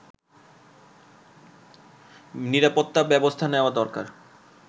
নিরাপত্তা ব্যবস্থা নেয়া দরকার